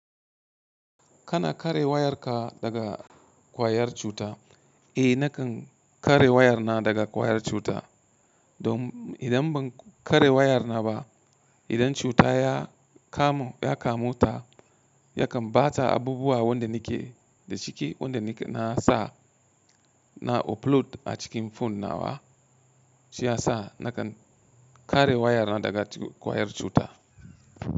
Kana kare wayarka daga ƙwayar cuta? Eh, nakan kare wayar na daga ƙwayar cuta. Don idan ban kare wayar na ba, idan cuta ya kamu, ya kamu ta, yakan bata abubuwa wanda nake da ciki, wanda nake na sa, na upload a cikin phone na wa. Shi ya sa nakan kare wayar na daga ƙwayar cuta.